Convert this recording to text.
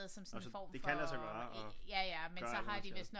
Nå så det kan lade sig gøre og gøre alt hvad man skal